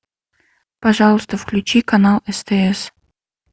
пожалуйста включи канал стс